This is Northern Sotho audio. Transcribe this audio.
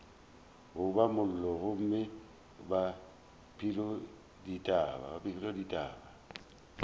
goba mollo gomme ba pelodithata